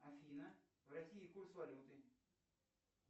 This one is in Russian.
афина в россии курс валюты